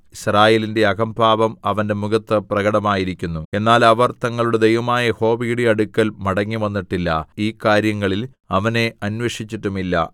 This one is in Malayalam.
യിസ്രായേലിന്റെ അഹംഭാവം അവന്റെ മുഖത്ത് പ്രകടമായിരിക്കുന്നു എന്നാൽ അവർ തങ്ങളുടെ ദൈവമായ യഹോവയുടെ അടുക്കൽ മടങ്ങിവന്നിട്ടില്ല ഈ കാര്യങ്ങളിൽ അവനെ അന്വേഷിച്ചിട്ടും ഇല്ല